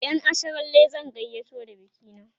ƴan asharalle zan gayyato da bikina